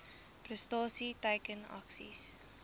prestasie teiken aksies